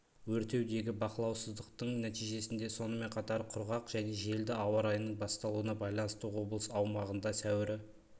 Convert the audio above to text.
өртеудегі бақылаусыздықтың нәтижесінде сонымен қатар құрғақ және желді ауа райының басталуына байланысты облыс аумағында сәуірі